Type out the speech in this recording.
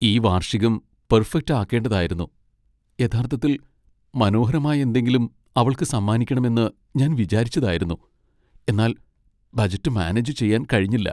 ഈ വാർഷികം പെർഫെക്റ്റ് ആകേണ്ടതായിരുന്നു യഥാർത്ഥത്തിൽ മനോഹരമായ എന്തെങ്കിലും അവൾക്ക് സമ്മാനിക്കണമെന്ന് ഞാൻ വിചാരിച്ചതായിരുന്നു . എന്നാൽ ബജറ്റ് മാനേജ് ചെയ്യാൻ കഴിഞ്ഞില്ല.